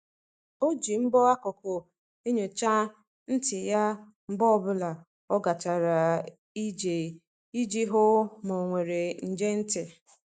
O ji mbọ akụkụ enyocha ntị ya mgbe ọ bụla o gachara ije iji hụ ma e nwere nje ntị.